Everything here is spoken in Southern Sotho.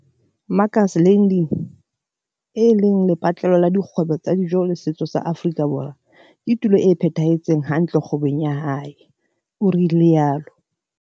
Makers Landing, e leng lepatlelo la dikgwebo tsa dijo le setso sa Afrika Borwa, ke tulo e phethahetseng hantle kgwebong ya hae, o rialo.